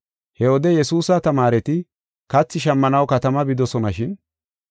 He wode Yesuusa tamaareti kathi shammanaw katama bidosonashin.